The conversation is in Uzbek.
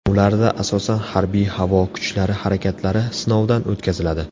Ularda asosan harbiy-havo kuchlari harakatlari sinovdan o‘tkaziladi.